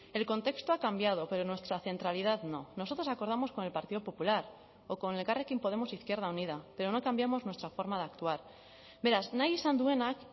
el contexto ha cambiado pero nuestra centralidad no nosotros acordamos con el partido popular o con elkarrekin podemos izquierda unida pero no cambiamos nuestra forma de actuar beraz nahi izan duenak